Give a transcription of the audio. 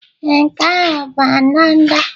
Ee, nke ahụ bụ ndanda.